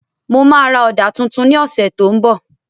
Mo ma ra Ọ̀dà tuntun ní ọ̀sẹ̀ tó ń bọ̀